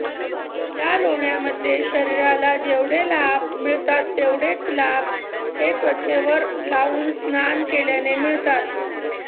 या लोण्यामध्ये शरीराला जेवढे लाभ मिळतात तेवढेच लाभ हे त्वचेवर लावून स्नान केल्याने मिळतात